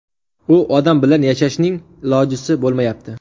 U odam bilan yashashning ilojisi bo‘lmayapti.